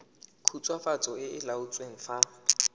khutswafatso e e laotsweng fa